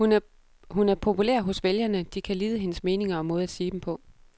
Hun er populær hos vælgerne, de kan lide hendes meninger og måde at sige dem på.